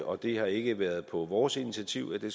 og det har ikke været på vores initiativ at det